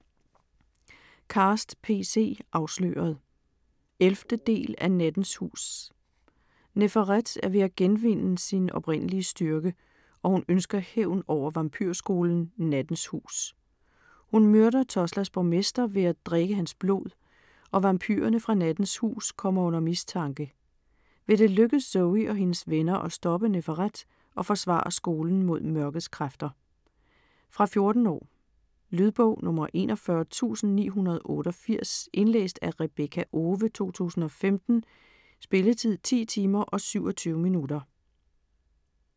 Cast, P. C.: Afsløret 11. del af Nattens hus. Neferet er ved at genvinde sin oprindelige styrke, og hun ønsker hævn over vampyrskolen "Nattens Hus". Hun myrder Tulsas borgmester ved at drikke hans blod, og vampyrerne fra "Nattens Hus" kommer under mistanke. Vil det lykkes Zoey og hendes venner at stoppe Neferet og forsvare skolen mod mørkets kræfter? Fra 14 år. Lydbog 41988 Indlæst af Rebekka Owe, 2015. Spilletid: 10 timer, 27 minutter.